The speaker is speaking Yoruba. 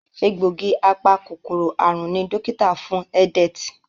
Egbògi apa-kòkòrò àrùn ní dókítà fún Edet.